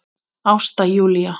Ásta Júlía.